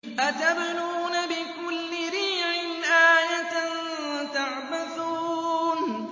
أَتَبْنُونَ بِكُلِّ رِيعٍ آيَةً تَعْبَثُونَ